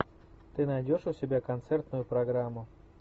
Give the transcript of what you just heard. ты найдешь у себя концертную программу